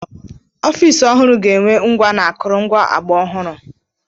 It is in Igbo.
Ọfịs ọhụrụ ga-enwe ngwa na akụrụngwa ọgbara ọhụrụ.